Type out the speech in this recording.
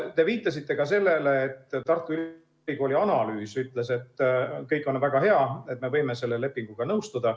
Te viitasite ka sellele, et Tartu Ülikooli analüüs ütles, et kõik on väga hea ja me võime selle lepinguga nõustuda.